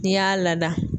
N'i y'a lada